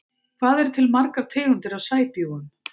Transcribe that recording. Hvað eru til margar tegundir af sæbjúgum?